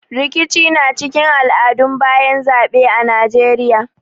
Rikici na cikin al'adun bayan zaɓe a Najeiya.